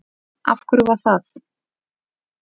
Af hverju var það?